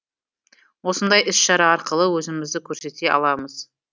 осындай іс шара арқылы өзімізді көрсете аламыз